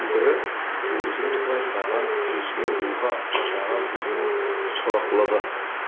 бірі өзің байқаған жүзге руға атаға бөліну сорақылығы